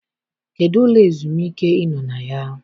Kedụ ụlọ ezumike ị nọ na ya?